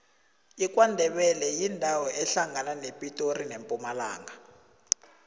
ikwandebele yindawo ehlangana nepitori nempumalanga